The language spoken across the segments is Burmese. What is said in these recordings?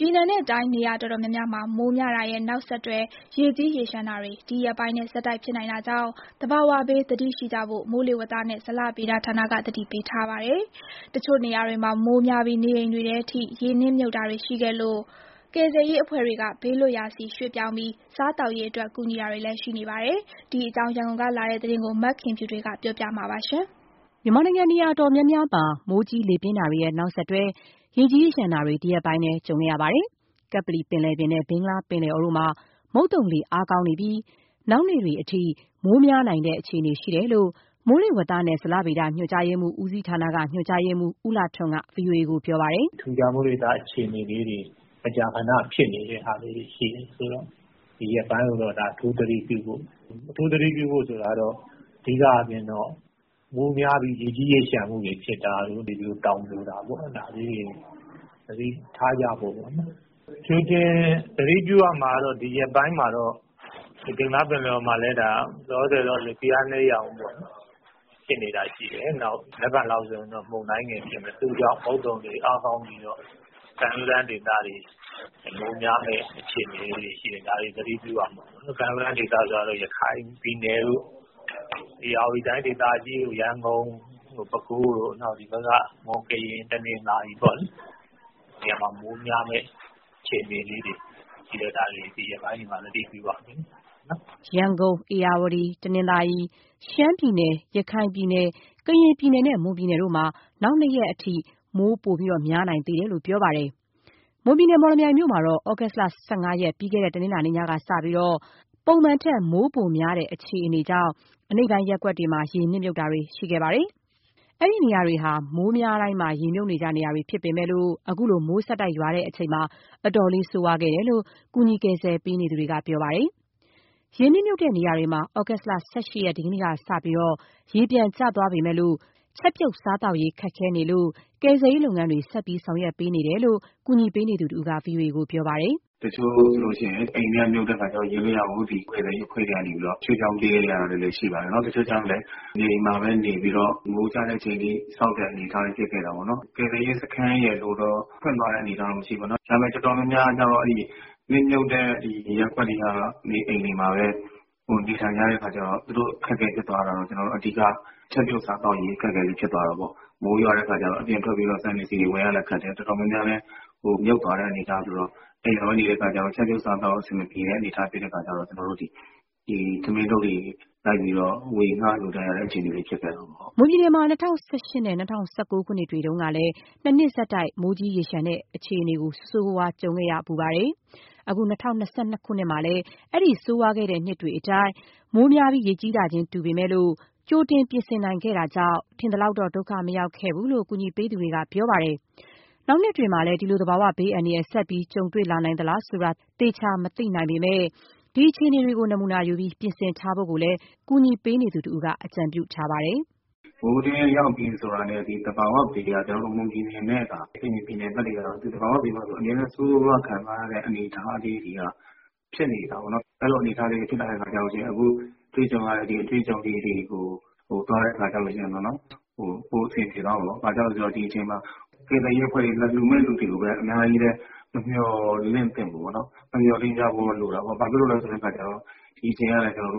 ပြည်နယ်နဲ့တိုင်း နေရာအတော်များများမှာ မိုးများတာရဲ့နောက်ဆက်တွဲ ရေကြီးရေလျှံတာတွေ ဒီရက်ပိုင်းထဲ ဆက်တိုက်ဖြစ်နိုင် တာကြောင့် သဘာဝဘေး သတိရှိကြဖို့ မိုးလေဝသနဲ့ ဇလဗေဒဌာနက သတိပေးထားပါတယ်။ တချို့နေရာတွေမှာ မိုးများပြီး နေအိမ်တွေထဲအထိ ရေနစ်မြုပ်တာတွေရှိခဲ့လို့ ကယ်ဆယ်ရေးအဖွဲ့တွေက ဘေးလွတ်ရာဆီရွှေ့ပြောင်းပြီး စားသောက်ရေးအတွက် ကူညီတာတွေလည်း ရှိနေပါတယ်။ ဒီအကြောင်း ရန်ကုန်ကလာတဲ့သတင်းကို မခင်ဖြူထွေးက တင်ပြပေးထားပါတယ်။ မြန်မာပြည်နေရာ အတော်များများမှာ မိုးကြီးလေပြင်းတာရဲ့ နောက်ဆက်တွဲ ရေကြီးရေလျှံတာတွေလည်း ဒီရက်ပိုင်းထဲ ဖြစ်ခဲ့ပါတယ်။ ကပ္ပလီပင်လယ်ပြင်နဲ့ ဘင်္ဂလားပင်လယ်အော်တို့မှာ မုတ်သုံလေအားကောင်းနေပြီး နောက်နေ့တွေအထိ မိုးများနိုင်တဲ့အခြေအနေကို မိုးလေဝသနဲ့ ဇလဗေဒညွှန်ကြားမှု ဦးစီးဌာနက ညွှန်ကြားရေးမှူး ဦးလှထွန်းက VOA ကို ပြောပါတယ်။ "ထူးခြားမိုးလေဝသ အခြေအနေတွေ မကြာခဏဖြစ်နေတာတွေ ရှိတယ်။ ဆိုတော့ ဒီရက်ပိုင်းကိုတော့ အထူးသတိပြုဖို့ပေါ့။ အထူးသတိပြုဖို့ ဆိုတာကတော့ အဓိကအားဖြင့် မိုးများပြီး ရေကြီးရေလျှံမှုတွေ ဖြစ်တာတို့၊ မြေပြို တောင်ပြိုတာတွေကို သတိထားကြဖို့ပေါ့။ ကြိုတင်သတိပြုရမှာကတော့ ဒီရက်ပိုင်းမှာ ဘင်္ဂလားပင်လယ်အော်မှာလည်း လောလောဆယ်တော့ လေဖိအားနည်းရပ်ဝန်း ဖြစ်နေတာရှိတယ်။ မနက်ဖြန်လောက်ဆိုရင်တော့ မုန်တိုင်းငယ်ဖြစ်မယ်။ သူ့ကြောင့် မုတ်သုံလေအားကောင်းပြီးတော့ ကမ်းရိုးတန်းဒေသတွေ မိုးများမယ့် အခြေအနေရှိတယ်။ ကမ်းရိုးတန်းဒေသဆိုတာကတော့ ရခိုင်ပြည်နယ်၊ ဧရာဝတီတိုင်းဒေသကြီး၊ ရန်ကုန်၊ ပဲခူး၊ မွန်၊ ကရင်၊ တနင်္သာရီ ပေါ့လေ။ အဲဒီနေရာတွေမှာ မိုးများမယ့်အခြေအနေရှိတော့ ဒီရက်ပိုင်းတွေမှာ သတိပြုရမယ်။" ရန်ကုန်၊ ဧရာဝတီ၊ တနင်္သာရီနဲ့ ရှမ်းပြည်နယ်၊ ရခိုင်ပြည်နယ်၊ ကရင်ပြည်နယ်နဲ့ မွန်ပြည်နယ်တို့မှာ နောက် ၂ ရက်အထိ မိုးပိုများနိုင်တယ်လို့ ပြောပါတယ်။ မွန်ပြည်နယ်၊ မော်လမြိုင်မြို့မှာတော့ ဩဂုတ်လ ၁၅ ရက်၊ ပြီးခဲ့တဲ့ တနင်္လာနေ့ညကစပြီး သာမန်ထက် မိုးပိုများတဲ့ အခြေအနေကြောင့် အနိမ့်ပိုင်းရပ်ကွက်တွေမှာ ရေနစ်မြုပ်တာတွေ ဖြစ်ခဲ့ပါတယ်။ အဲဒီနေရာတွေဟာ မိုးများတိုင်း ရေမြုပ်နေကျနေရာတွေ ဖြစ်ပေမယ့် အခုလို မိုးဆက်တိုက်ရွာတဲ့အချိန်မှာ အတော်လေးဆိုးရွားခဲ့တယ်လို့ ကူညီကယ်ဆယ်ပေးခဲ့သူတွေက ပြောပါတယ်။ ရေနစ်မြုပ်တဲ့နေရာတွေမှာ ဩဂုတ်လ ၁၈ ရက်၊ ဒီကနေ့ကစပြီး ရေပြန်ကျနေပေမယ့် ချက်ပြုတ်စားသောက်ဖို့ ခက်ခဲနေလို့ ကယ်ဆယ်ရေးလုပ်ငန်းတွေကို ဆက်ပြီးဆောင်ရွက်နေတယ်လို့ ကူညီပေးနေသူတဦးက VOA ကို ပြောပါတယ်။ "တချို့ဆိုရင် အိမ်တွေကမြုပ်တော့ ဘေးလွတ်ရာကို ကယ်ဆယ်ရေးအဖွဲ့တွေက ရွှေ့ပြောင်းပေးခဲ့ရတယ်။ တချို့ကျတော့လည်း နေအိမ်မှာပဲ နေပြီး မိုးကျတဲ့အချိန်ထိ စောင့်တဲ့အနေအထားတွေ ဖြစ်ခဲ့တာပေါ့နော်။ ကယ်ဆယ်ရေးစခန်းရယ်လို့တော့ ဖွင့်သွားတဲ့ အနေအထား မရှိဘူး။ ဒါပေမယ့် တော်တော်များများက နစ်မြုပ်တဲ့ရပ်ကွက်တွေက နေအိမ်မှာပဲနေတဲ့အခါကျတော့ ချက်ပြုတ်စားသောက်ရေးမှာ အဓိက အခက်အခဲတွေ ဖြစ်သွားတယ်။ မိုးရွာတဲ့အခါကျတော့ အပြင်ထွက်ပြီး ဆန်၊ ဆီ ဝယ်ဖို့ခက်တယ်။ တော်တော်များများလည်း မြုပ်သွားတဲ့ အနေအထားဆိုတော့ ချက်ပြုတ်စားသောက်ဖို့ အဆင်မပြေတော့ ထမင်းထုပ်တွေ ဝေငှလှူဒါန်းရတဲ့ အခြေအနေတွေ ဖြစ်ခဲ့တာပေါ့။" မွန်ပြည်နယ်မှာ ၂၀၁၈၊ ၂၀၁၉ တုန်းကလည်း ၂ နှစ်ဆက်တိုက် မိုးကြီးရေလျှံတဲ့ အခြေအနေ ဆိုးဆိုးရွားရွား ကြုံခဲ့ရဖူးတယ်လို့ ပြောပါတယ်။ အခု ၂၀၂၂ ခုနှစ်မှာ အဲဒီ ဆိုးရွားခဲ့တဲ့နှစ်တွေအတိုင်း မိုးများရေကြီးတာချင်းတူပေမယ့် ကြိုတင်ပြင်ဆင်နိုင်ခဲ့လို့ ထင်သလောက် ဒုက္ခမရောက်ခဲ့ဘူးလို့ ကူညီပေးသူတွေက ပြောပါတယ်။ နောက်နှစ်တွေမှာလည်း ဒီလို သဘာဝဘေးအန္တရာယ် ဆက်ပြီး ကြုံတွေ့ လာနိုင်သလားဆိုတာ သေချာမသိနိုင်ပေမယ့် ဒီအခြေအနေတွေကို နမူနာယူပြီး ပြင်ဆင်ထားနိုင်ဖို့ကို ကူညီပေးနေသူတဦးက အကြုံပြုထားပါတယ်။ "မိုးတွင်းရောက်ပြီဆိုတာနဲ့ ဒီသဘာဝဘေးက မွန်ပြည်နယ်နဲ့ ကရင်ပြည်နယ်ဘက်တွေက အမြဲတမ်းဆိုးဆိုးရွားရွား ခံစားရတဲ့အနေအထားက ဖြစ်နေတာပေါ့နော်။ အဲလိုအနေအထားတွေ ဖြစ်လာရင် အခုတွေ့ကြုံရတဲ့ အတွေ့အကြုံတွေကို သိပြီးတော့ ပြင်ဆင်နိုင်ရင် ပိုအဆင်ပြေသွားတာပေါ့။ ဘာကြောင့်လဲဆိုတော့ ဒီအချိန်မှာ ကယ်ဆယ်ရေးအဖွဲ့တွေ၊ လာလှူမယ့်သူတွေကိုပဲ အများကြီးမမျှော်လင့်ကြဖို့ လိုတာပေါ့။ ဘာဖြစ်လို့လဲဆိုတော့ ဒီအချိန်က လူ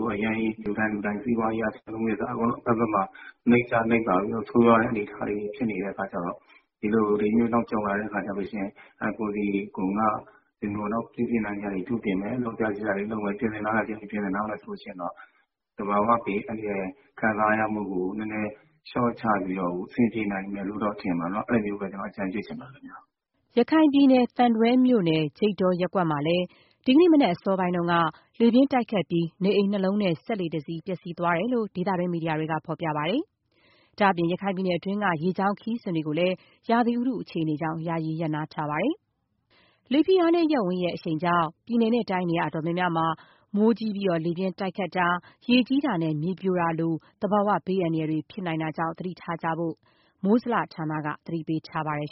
တိုင်းလူတိုင်း စီးပွားရေး၊ လူမှုရေးကအစ အဘက်ဘက်မှာနိမ့်ကျပြီး ဆိုးရွားတဲ့ အနေအထားတွေ ဖြစ်နေတော့ ဒီလိုတွေပဲ နောက်ကြုံလာတဲ့အခါကျရင် ကိုယ်စီကိုယ်ငှ ပြုပြင်စရာ လုပ်စရာတွေကို ပြင်ဆင်ထားမယ်ဆိုရင်တော့ သဘာဝဘေးအန္တရာယ် ခံစားရမှုကို နည်းနည်းလျှော့ချပြီး အဆင်ပြေနိုင်မယ်လို့ ထင်ပါတယ်။" ရခိုင်ပြည်နယ်၊ သံတွဲမြို့နယ်၊ ဂျိတ္တောရပ်ကွက်မှာလည်း ဒီကနေ့ မနက်အစောပိုင်းတုန်းက လေပြင်းတိုက်ခတ်ပြီး နေအိမ် ၂ လုံးနဲ့ စက်လှေ ၁ စီးပျက်စီးသွားတယ်လို့ ဒေသတွင်းမီဒီယာတွေမှာ ဖော်ပြထားပါတယ်။ ဒါ့အပြင် ရခိုင်ပြည်နယ်တွင်းက ရေကြောင်းခရီးစဉ်တွေကိုလည်း ရာသီဥတုအခြေအနေကြောင့် ယာယီရပ်နားထားပါတယ်။ လေဖိအားနည်းရပ်ဝန်းရဲ့ အရှိန်ကြောင့် ပြည်နယ်နဲ့တိုင်း နေရာအတော်များများမှာ မိုးကြီးလေပြင်းတိုက်တာ၊ ရေကြီးတာနဲ့ မြေပြိုတာ ဒီလို သဘာဝဘေးအန္တရာယ်တွေ ဖြစ်နိုင်လို့ သတိရှိကြဖို့ကို မိုးဇလက အသိပေးထားပါတယ်